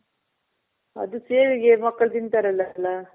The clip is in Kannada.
ಅದು ಸೇವಿಗೆ ಮಕ್ಕಳ್ ತಿಂತಾರಲ್ಲ ಎಲ್ಲ.